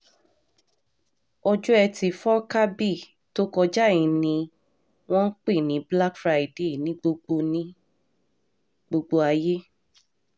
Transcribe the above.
ọjọ́ etí furcabee tó kọjá yìí ni wọ́n ń pè ní black friday ní gbogbo ní gbogbo ayé